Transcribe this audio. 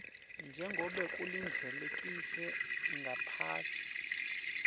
njengobe kulindzelekile ngaphasi